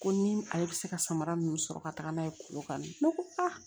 Ko ni ale bɛ se ka samara ninnu sɔrɔ ka taga n'a ye korokan ne ko a